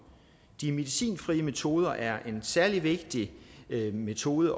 de medicinfrie metoder er en særlig vigtig metode